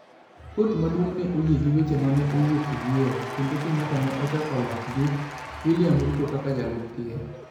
Kot maduong' ne oyie gi weche ma ne owuok e yiero, kendo Kenyatta ne ochako loch gi William Ruto kaka jalup ker.